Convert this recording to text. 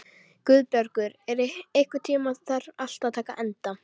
Guðbergur, einhvern tímann þarf allt að taka enda.